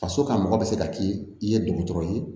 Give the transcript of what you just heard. Faso kan mɔgɔ bɛ se ka k'i i ye dɔgɔtɔrɔ ye